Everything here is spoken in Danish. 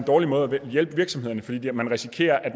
dårlig måde at hjælpe virksomhederne på fordi man risikerer at